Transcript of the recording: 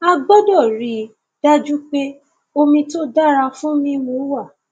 a a gbọdọ rí i dájú pé omi tó dára fún mímu wà